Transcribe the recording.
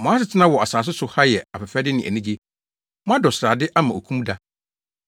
Mo asetena wɔ asase so ha yɛ afɛfɛde ne anigye. Moadɔ srade ama okum da.